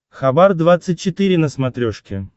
хабар двадцать четыре на смотрешке